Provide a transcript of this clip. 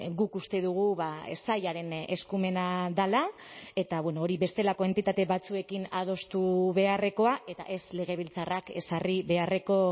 guk uste dugu sailaren eskumena dela eta hori bestelako entitate batzuekin adostu beharrekoa eta ez legebiltzarrak ezarri beharreko